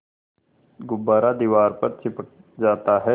गुब्बारा दीवार पर चिपक जाता है